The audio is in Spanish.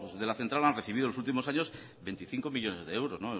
de la central han recibido en los últimos años veinticinco millónes de euros